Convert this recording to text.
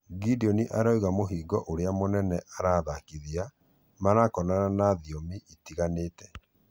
Gideon arauga mũhingo ũria mũnene athakithia marakorana naguo nĩ thiomi itiganĩte